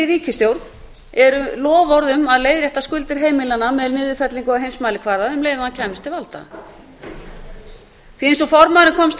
ríkisstjórn eru loforð um að leiðrétta skuldir heimilanna með niðurfellingu á heimsmælikvarða um leið og hann kæmist til valda eins og formaðurinn komst að